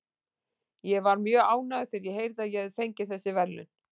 Ég var mjög ánægður þegar ég heyrði að ég hafði fengið þessi verðlaun.